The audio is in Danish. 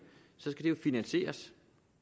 skal det jo finansieres